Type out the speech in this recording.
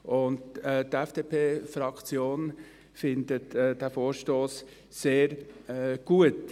Die FDP-Fraktion findet diesen Vorstoss sehr gut.